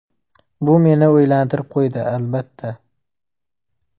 Bu meni o‘ylantirib qo‘ydi, albatta.